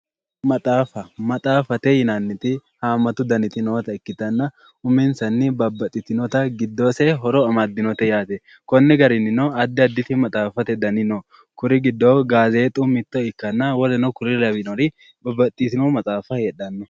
Maxaafa maxaafate yinnanniti hamattu danniti nootta ikkittanna uminsanni giddose babbaxitinotta horo amadinote yaate konni garininno addi additi maxaafate danni no kuri giddo gazexu mitto ikkanna woluno kuri lawinori babbaxitino maxaafa no.